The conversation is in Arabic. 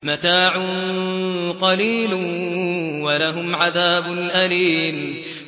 مَتَاعٌ قَلِيلٌ وَلَهُمْ عَذَابٌ أَلِيمٌ